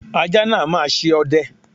Ajá náà máa ṣe ọdẹ.